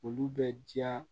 Olu bɛ diya